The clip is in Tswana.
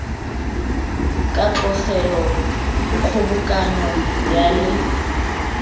ka tlogelwa kgobokanyo ya le